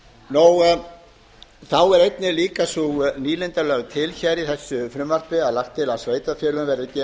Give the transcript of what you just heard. efnum þá er einnig líka sú nýlunda lögð til í þessu frumvarpi að lagt er til að sveitarfélögunum verði gefinn sá